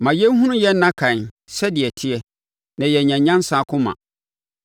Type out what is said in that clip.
Ma yɛnhunu yɛn nna kan sɛdeɛ ɛteɛ, na yɛanya nyansa akoma.